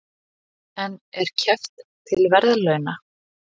En er keppt til verðlauna?